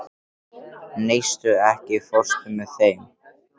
Neisti, ekki fórstu með þeim?